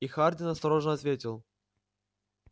и хардин осторожно ответил